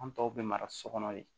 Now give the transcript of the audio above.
An tɔw bɛ mara so kɔnɔ yen